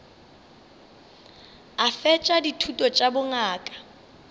a fetša dithuto tša bongaka